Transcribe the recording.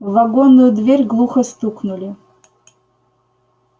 в вагонную дверь глухо стукнули